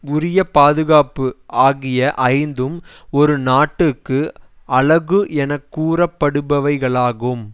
உரிய பாதுகாப்பு ஆகிய ஐந்தும் ஒரு நாட்டுக்கு அழகு என கூறப்படுபவைகளாகும்